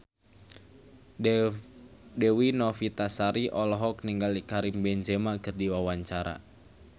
Dewi Novitasari olohok ningali Karim Benzema keur diwawancara